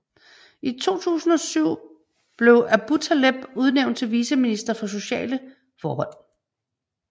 I 2007 blev Aboutaleb udnævnt til viceminister for sociale forhold